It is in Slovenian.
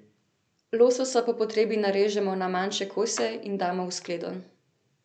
Lososa po potrebi narežemo na manjše kose in damo v skledo.